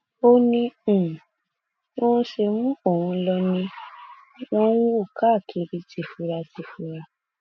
ó ní um bí wọn ṣe mú òun lò ni wọn um ń wò káàkiri tìfuratìfura